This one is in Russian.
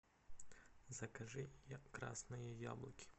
закажи красные яблоки